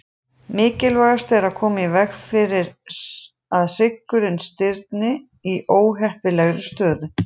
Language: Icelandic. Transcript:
Mikilvægast er að koma í veg fyrir að hryggurinn stirðni í óheppilegri stöðu.